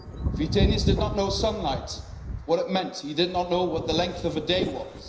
Vytenis did not know sunlight, what it meant. He did not know what the length of a day